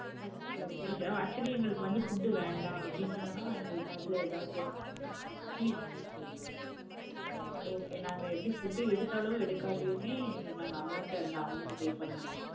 Okay act~ actually எங்களுக்கு வந்து food உ வேணாம் அப்டினா எங்களுக்கு ஆதுல எதாவது fees okay நாங்க எப்படி food எடுத்தாலும் எடுக்காட்டியுமே நாங்க amount அந்த amount pay பன்னனுமா தானே?